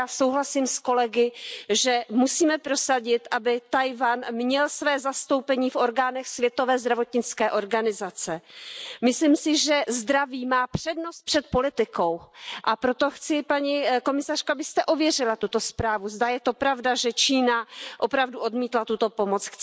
Já souhlasím s kolegy, že musíme prosadit, aby Tchaj wan měl své zastoupení v orgánech Světové zdravotnické organizace. Myslím si, že zdraví má přednost před politikou, a proto chci, paní komisařko, abyste ověřila tuto zprávu, zda je to pravda, že Čína opravdu odmítla tuto pomoc.